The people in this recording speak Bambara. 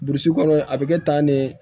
Burusi kɔnɔ a bɛ kɛ tan ne